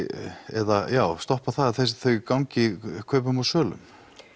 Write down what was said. eða stoppa að þau gangi í kaupum og sölum